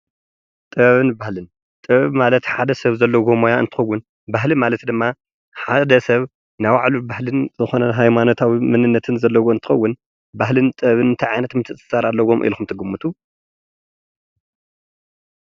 ጥበብን ባህልን ጥበብን ማለት ሓድ ሰብ ዘልዎ ሞያ እንትኸዉን። ባህሊ ማለት ድማ ሓደ ስብ ናይ ባዕሉ ባህልን ዝኮነ ሃይማኖታዊ መንነት ዘለዎ እንትኸውን። ባህልን ጥበብን እንታይ ዓይነት ምትእስሳር ኣለዎም ኢልኩም ትግምቱ?